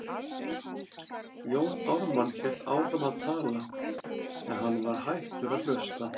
Jón Ármann hélt áfram að tala, en hann var hættur að hlusta.